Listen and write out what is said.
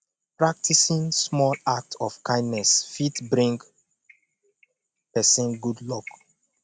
practicing small act of kindness fit bring persin good luck